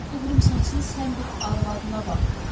O qıvrımsaçın sən bir arvadına bax.